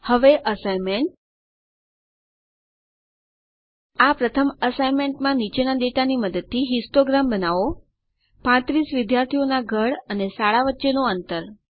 હવે અસાઇનમેન્ટ આ પ્રથમ અસાઇનમેન્ટમાં નીચેના ડેટાની મદદથી હિસ્ટોગ્રામ બનાવો 35 વિદ્યાર્થીઓના ઘર અને શાળા વચ્ચેનું અંતર